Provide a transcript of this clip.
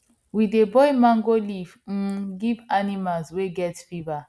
we dey boil mango leaf um give animal wey get fever